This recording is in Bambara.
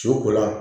Su ko la